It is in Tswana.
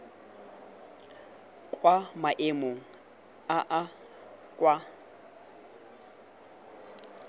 kwa maemong a a kwa